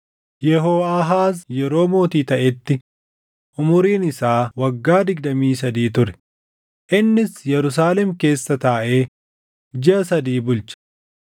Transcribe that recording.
Yehooʼaahaaz yeroo mootii taʼetti umuriin isaa waggaa digdamii sadii ture; innis Yerusaalem keessa taaʼee jiʼa sadii bulche.